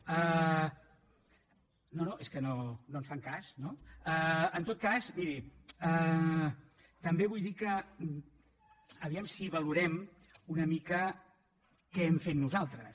no no és que no ens fan cas no en tot cas miri també vull dir que a veure si valorem una mica què hem fet nosaltres